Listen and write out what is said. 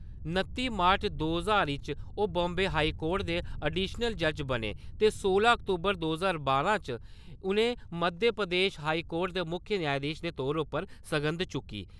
नत्ती मार्च दो ज्हार च ओह् बाम्बे हाई कोर्ट दे अडिशनल जज बने ते सोलां अक्तूबर दो ज्हार बारां च उ'नें मध्य प्रदेश हाई कोर्ट दे मुक्ख न्यायधीश दे तौर उप्पर सगंध चुक्की।